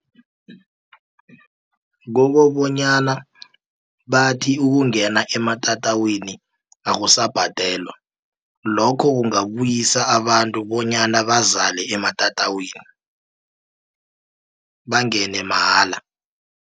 Kokobonyana bathi ukungena ematatawini akusabhadelwa lokho kungabuyisa abantu bonyana bazale ematatawini bangene mahala.